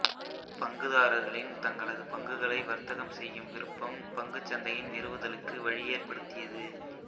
பங்குதாரர்களின் தங்களது பங்குகளை வர்த்தகம் செய்யும் விருப்பம் பங்குச் சந்தையின் நிறுவுதலுக்கு வழியேற்படுத்தியது